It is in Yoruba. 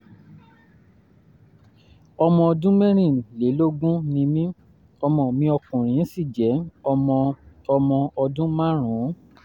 ọmọ ọdún mẹ́rìnlélógún ni mí ọmọ mi ọkùnrin sì jẹ́ ọmọ ọmọ ọdún márùn-ún